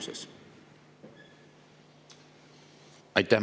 Aitäh!